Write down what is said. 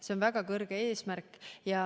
See on väga kõrge eesmärk.